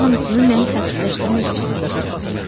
Bunların hamısını məni sakitləşdirmək üçün deyirsən.